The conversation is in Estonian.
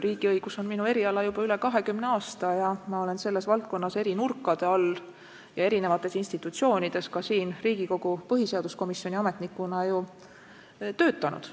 Riigiõigus on minu eriala olnud juba üle 20 aasta ja ma olen selles valdkonnas eri nurkade all ja erinevates institutsioonides, ka siin Riigikogus põhiseaduskomisjoni ametnikuna töötanud.